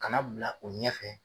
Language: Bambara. Ka na bila o ɲɛfɛ